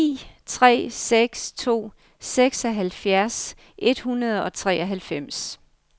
ni tre seks to seksoghalvfjerds et hundrede og treoghalvfems